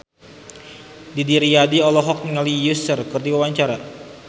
Didi Riyadi olohok ningali Usher keur diwawancara